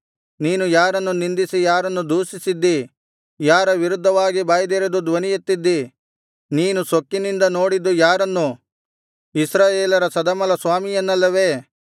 ನೀನು ಯಾರನ್ನು ನಿಂದಿಸಿ ಯಾರನ್ನು ದೂಷಿಸಿದ್ಡೀ ಯಾರ ವಿರುದ್ಧವಾಗಿ ಬಾಯ್ದೆರೆದು ಧ್ವನಿಯೆತ್ತಿದ್ದೀ ನೀನು ಸೊಕ್ಕಿನಿಂದ ನೋಡಿದ್ದು ಯಾರನ್ನು ಇಸ್ರಾಯೇಲರ ಸದಮಲಸ್ವಾಮಿಯನ್ನಲ್ಲವೇ